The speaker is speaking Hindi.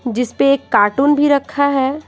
जिस पे एक कार्टून भी रखा है।